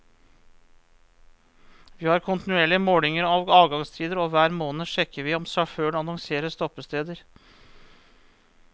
Vi har kontinuerlige målinger av avgangstider, og hver måned sjekker vi om sjåføren annonserer stoppesteder.